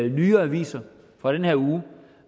nyere aviser fra den her uge